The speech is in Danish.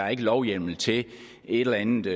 er lovhjemmel til et eller andet